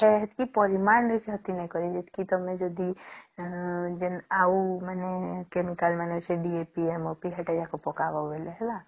ହେତକୀ ପରିମାଣ ରେ କ୍ଷତି ନାଇଁ କରେ ଯେତକି ତମେ ଯଦି ଆଉ ମାନେ chemical ମାନେ ସେ DAP MOP ସେଟୟକୁ ପକାଇବା ହେଲେ